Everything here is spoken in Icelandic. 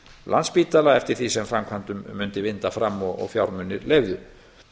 landspítala eftir því sem framkvæmdum mundi vinda fram og fjármunir leyfðu